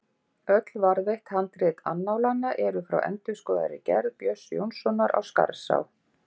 Öll varðveitt handrit annálanna eru frá endurskoðaðri gerð Björns Jónssonar á Skarðsá.